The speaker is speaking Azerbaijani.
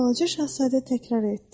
deyə Balaca Şahzadə təkrarladı.